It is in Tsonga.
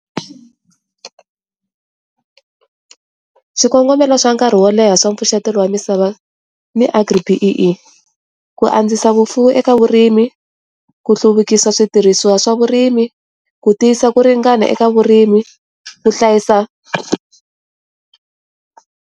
Xikongomelo swa nkarhi wo leha swa pfuxetelo wa misava ni AGRI-B_E_E, ku andzisa vufuwi eka vurimi, ku hluvukisa switirhisiwa swa vurimi, ku tiyisa ku ringana eka vurimi, ku hlayisa .